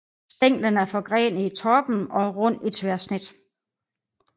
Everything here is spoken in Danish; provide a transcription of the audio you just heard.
Stænglen er forgrenet i toppen og rund i tværsnit